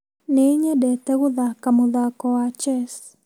Ninyendete guthaka mũthako wa chess